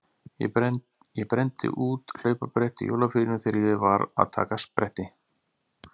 Ég brenndi út hlaupabretti í jólafríinu þegar ég var að taka spretti.